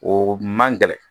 O man gɛlɛn